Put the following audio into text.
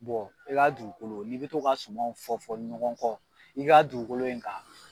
Bɔn i ka dugukolo n'i be to ka suman o fɔ fɔ ɲɔgɔn kɔ i ga dugukolo in kan